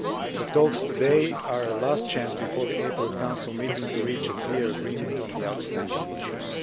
The talks today are the last chance before the April Council meeting to reach a clear agreement on the outstanding issues.